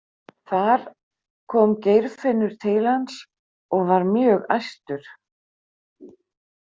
Þar kom Geirfinnur til hans og var mjög æstur.